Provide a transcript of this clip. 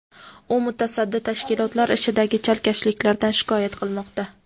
u mutasaddi tashkilotlar ishidagi chalkashliklardan shikoyat qilmoqda.